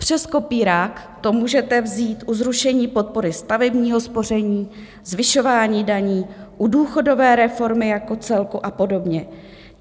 Přes kopírák to můžete vzít u zrušení podpory stavebního spoření, zvyšování daní, u důchodové reformy jako celku a podobně.